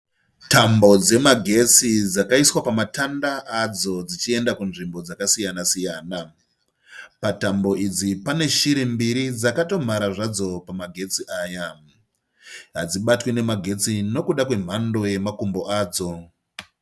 Tambo dzemagetsi dzakaiswa pamatanda adzodzichienda kunzvimbo dzakasiyana siyana. Patambo idzi pane shiri mbiri dzakatomhara zvadzo pamagetsi aya. Hadzibatwe nemagetsi nokuda kwemhando yemakumbo adzo.